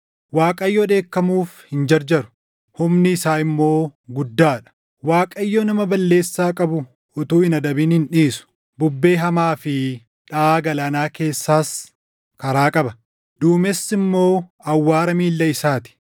Waaqayyo dheekkamuuf hin jarjaru; humni isaa immoo guddaa dha; Waaqayyo nama balleessaa qabu utuu hin adabin hin dhiisu. Bubbee hamaa fi dhaʼaa galaanaa keessaas karaa qaba; duumessi immoo awwaara miilla isaa ti.